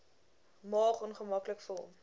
maag ongemaklik vol